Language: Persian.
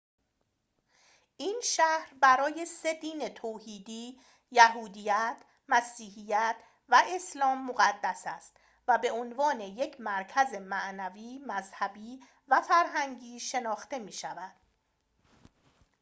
این شهر برای سه دین توحیدی یهودیت مسیحیت و اسلام مقدس است و به عنوان یک مرکز معنوی مذهبی و فرهنگی شناخته می‌شود